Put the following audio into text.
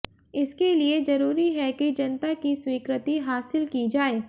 इसके लिए जरूरी है कि जनता की स्वीकृति हासिल की जाए